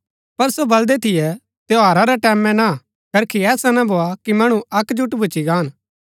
पर सो बलदै थियै त्यौहारा रै टैमैं ना करखी ऐसा ना भोआ कि मणु अकजूट भूच्ची गान